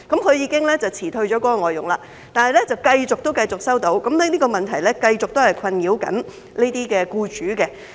她已經辭退該外傭，但情況仍然繼續，而這個問題仍在困擾這些僱主。